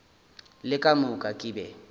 le ka moka ke be